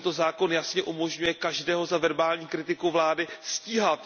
Tento zákon jasně umožňuje každého za verbální kritiku vlády stíhat.